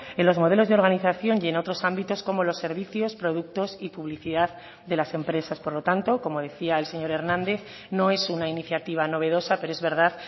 en los modelos de organización y en otros ámbitos como los servicios productos y publicidad de las empresas por lo tanto como decía el señor hernández no es una iniciativa novedosa pero es verdad